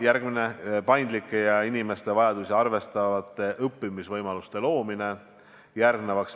Järgmiseks, paindlike ja inimeste vajadusi arvestavate õppimisvõimaluste loomine.